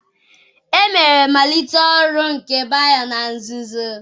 Emere mmalite oru nke Bayo na nzuzo.